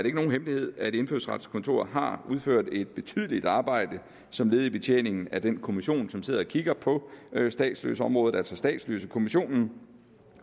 ikke nogen hemmelighed at indfødsretskontoret har udført et betydeligt arbejde som led i betjeningen af den kommission som sidder og kigger på statsløseområdet altså statsløsekommissionen